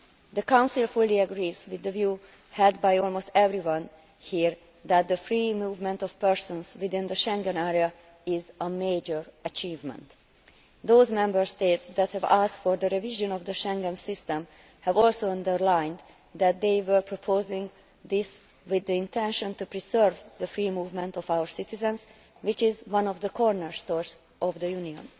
The Council fully agrees with the view held by almost everyone here that the free movement of persons within the Schengen area is a major achievement. Those Member States that have asked for the revision of the Schengen system have also underlined that they were proposing this with the intention of preserving the free movement of our citizens, which is one of the cornerstones of the Union.